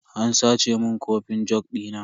An sace mun kofin jug dina.